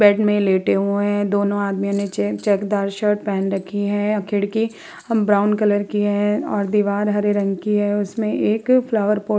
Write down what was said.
Bed में लेटे हुवे हैं। दोनों आदमी ने चेकदार शर्ट पहन रखी है। खिड़की ब्राउन कलर की है और दिवार हरे रंग की है। उसमें एक फ्लॉवर पॉट --